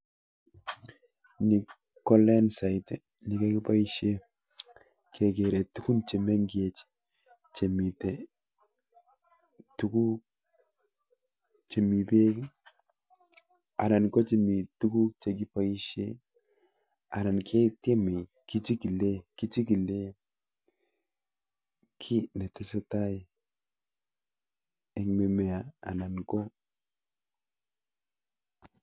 Niii kolendaiit nekipaishee kekere tugun chemengecheeen chemiii tuguk kichikileee kiii netesetai Eng mimea